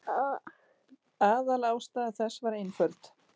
Aðalástæða þess var einföld.